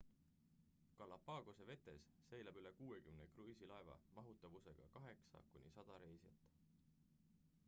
galapagose vetes seilab üle 60 kruiisilaeva mahutavusega 8 kuni 100 reisijat